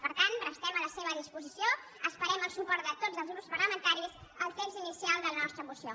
per tant restem a la seva disposició esperem el suport de tots els grups parlamentaris al text inicial de la nostra moció